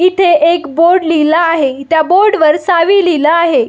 इथे एक बोर्ड लिहला आहे त्या बोर्डवर सावी लिहिल आहे.